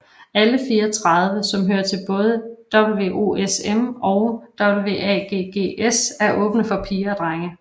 Alle 34 som hører til både WOSM og WAGGGS er åbne for piger og drenge